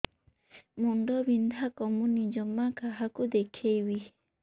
ମୁଣ୍ଡ ବିନ୍ଧା କମୁନି ଜମା କାହାକୁ ଦେଖେଇବି